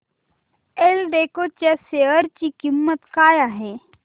एल्डेको च्या शेअर ची किंमत काय आहे